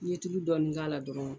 N'i y'i dɔɔni k'a la dɔrɔn